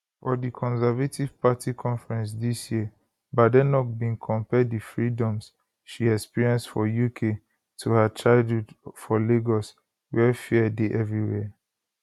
for di conservative party conference dis year badenoch bin compare di freedoms she experience for uk to her childhood for lagos wia fear dey everywhere